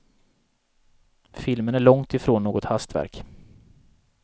Filmen är långt ifrån något hastverk.